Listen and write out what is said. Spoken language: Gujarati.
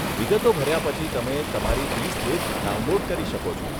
વિગતો ભર્યા પછી તમે તમારી ઇ સ્લીપ ડાઉનલોડ કરી શકો છો.